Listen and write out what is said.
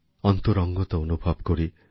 অন্তরঙ্গতা অনুভব করি